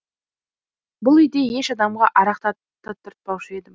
бұл үйде еш адамға арақ татыртпаушы едім